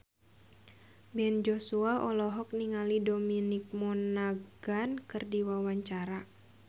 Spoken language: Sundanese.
Ben Joshua olohok ningali Dominic Monaghan keur diwawancara